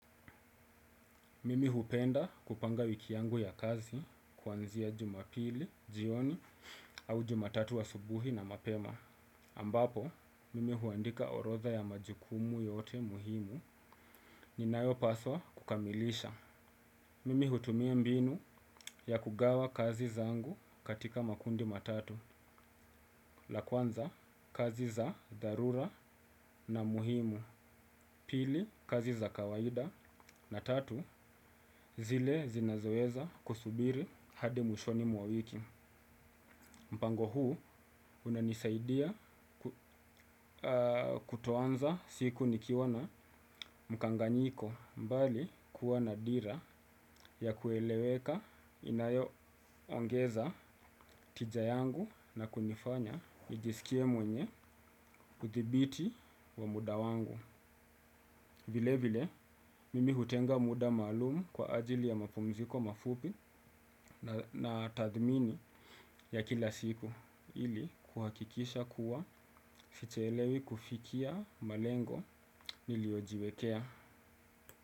Mimi hupenda kupanga wiki yangu ya kazi kuanzia jumapili, jioni au jumatatu asubuhi na mapema. Ambapo, mimi huandika horodha ya majukumu yote muhimu ninayo paswa kukamilisha. Mimi hutumia mbinu ya kugawa kazi zangu katika makundi matatu. La kwanza, kazi za dharura na muhimu. Pili, kazi za kawaida na tatu zile zinazoeza kusubiri hadi mwishoni mwawiki. Mpango huu unanisaidia kuto anza siku nikiwana mkanganyiko mbali kuwa na dira ya kueleweka inayo ongeza tija yangu na kunifanya nijisikie mwenye kuthibiti wa muda wangu. Vile vile, mimi hutenga muda maalumu kwa ajili ya mapumziko mafupi na tathmini ya kila siku ili kuhakikisha kuwa sichelewi kufikia malengo nilio jiwekea.